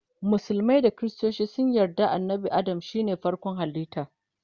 musulmai da kristoci sun yarda annabi Adam shine farkon halitta